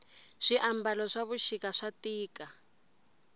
swi ambalo swavushika swatika